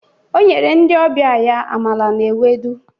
O nyere ndị ọbịa ya amala na ewedu.